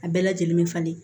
A bɛɛ lajɛlen be falen